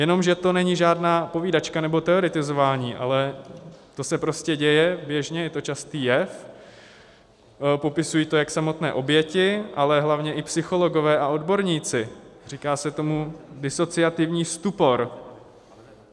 Jenomže to není žádná povídačka nebo teoretizování, ale to se prostě děje běžně, je to častý jev, popisují to jak samotné oběti, ale hlavně i psychologové a odborníci: říká se tomu disociativní stupor.